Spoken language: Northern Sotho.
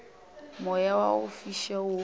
moya wa go fiša wo